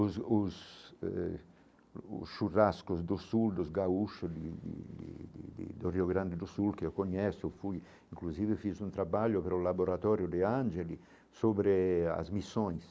Os os eh os churrascos do sul dos gaúcho de de de de de do Rio Grande do Sul, que eu conheço, eu fui, inclusive, fiz um trabalho pelo laboratório de ángeles sobre as missões.